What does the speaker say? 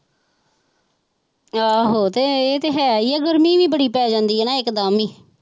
ਆਹੋ ਤੇ ਇਹ ਤੇ ਹੈ ਹੀ ਆ ਗਰਮੀ ਵੀ ਬੜੀ ਪੈ ਜਾਂਦੀ ਆ ਨਾ ਇੱਕ ਦਮ ਹੀ।